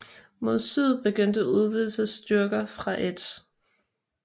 Mod syd begyndte udvidelsesstyrker fra 1